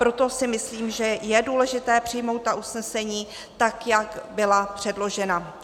Proto si myslím, že je důležité přijmout ta usnesení tak, jak byla předložena.